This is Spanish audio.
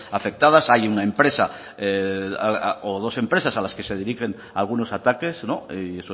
afectadas hay una empresa o dos empresas a las que se dirigen algunos ataques y